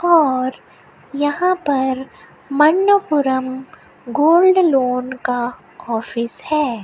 और यहां पर मणप्पुरम गोल्ड लोन का ऑफिस है।